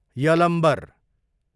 Yalambar